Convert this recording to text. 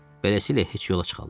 Beləsilə heç yola çıxarlar?